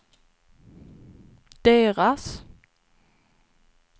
deras